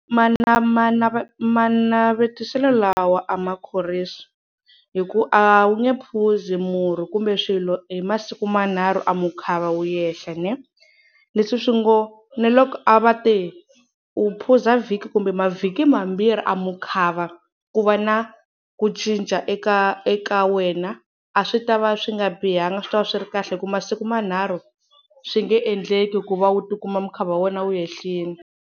manavetiselo lawa a ma khorwisi hi ku a wu nge phuzi murhi kumbe swilo hi masiku manharhu, a mukhava wu yehla ne. Leswi swi ngo ni loko a va te u phuza vhiki kumbe mavhiki mambirhi a mukhava ku va na ku cinca eka eka wena, a swi ta va swi nga bihanga a swi ta va swi ri kahle hi ku masiku manharhu swi nge endleki ku va u tikuma mukhava wa wena wu ehlile.